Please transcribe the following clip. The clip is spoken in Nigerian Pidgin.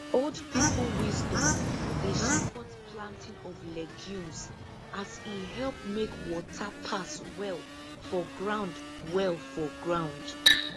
old people wisdom dey support planting of legumes as e help make water pass well for ground well for ground